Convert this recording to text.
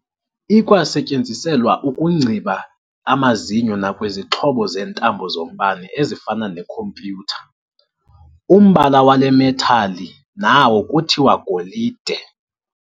Ikwasetyenziselwa ukungciba amazinyo nakwizixhobo zeentambo zombane ezifana neecomputer. umbala wale "metal" nawo kuthiwa "golide".